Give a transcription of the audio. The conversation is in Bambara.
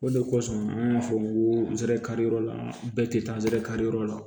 O de kosɔn an ka fɔ ko anzɛri kari yɔrɔ la bɛɛ tɛ taa ansɛrɛ kariyɔrɔ la